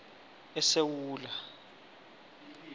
esewula